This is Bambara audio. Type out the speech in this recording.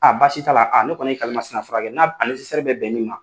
basi t'a la ne kɔni ye kalimasina furakɛ n'a bɛ bɛn nin ma.